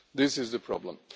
This is the problem.